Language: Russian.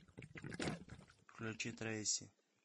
включи трейси